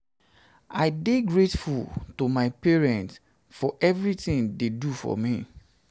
i dey um grateful to my parents for everything dey do for me